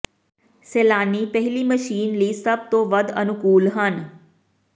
ਸੈਲਾਨੀ ਪਹਿਲੀ ਮਸ਼ੀਨ ਲਈ ਸਭ ਤੋਂ ਵੱਧ ਅਨੁਕੂਲ ਹਨ